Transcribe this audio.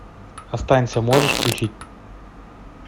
останься можешь включить